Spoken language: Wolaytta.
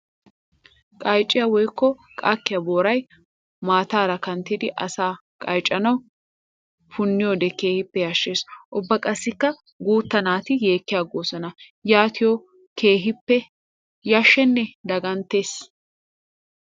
Qaycciya woykko qakkiya Booray mataara kanttiddi asaa qayccanawu puuniyoode keehippe yashees. Ubba qassikka guuta naati yeekigosona yaatiyo keehippe yasheesinne dagganttes.